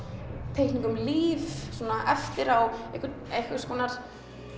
teikningum líf svona eftir á einhvers einhvers konar